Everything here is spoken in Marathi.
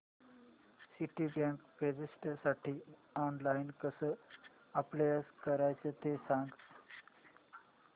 सिटीबँक प्रेस्टिजसाठी ऑनलाइन कसं अप्लाय करायचं ते सांग